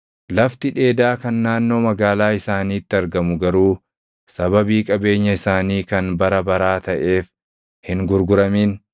Lafti dheedaa kan naannoo magaalaa isaaniitti argamu garuu sababii qabeenya isaanii kan bara baraa taʼeef hin gurguramin.